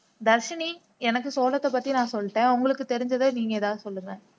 தர்ஷினி எனக்கு சோளத்த பத்தி நான் சொல்லிட்டேன் உங்களுக்கு தெரிந்ததை நீங்கள் ஏதாவது சொல்லுங்க